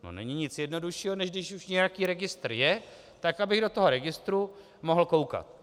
No není nic jednoduššího, než když už nějaký registr je, tak abych do toho registru mohl koukat.